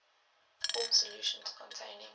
form solutions containing